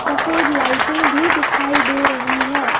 सफेद लाइटें भी दिखाई दे रही है।